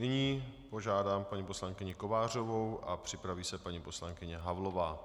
Nyní požádám paní poslankyni Kovářovou a připraví se paní poslankyně Havlová.